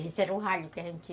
Esse era o ralho que a gente...